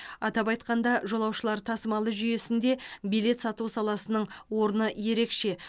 атап айтқанда жолаушылар тасымалы жүйесінде билет сату саласының орны ерекше